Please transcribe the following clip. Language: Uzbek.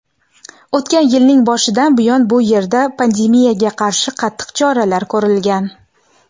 o‘tgan yilning boshidan buyon bu yerda pandemiyaga qarshi qattiq choralar ko‘rilgan.